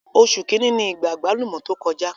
Oṣù kìíní ni ìgbà àgbálùmọ́ tó kọjá.